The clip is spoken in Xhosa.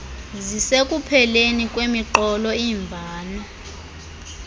zisekupheleni kwemiqolo imvano